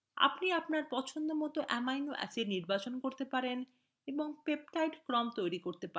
আপনি আপনার পছন্দমত অ্যামিনো acids নির্বাচন করতে পারেন এবং peptide ক্রম তৈরি করতে পারেন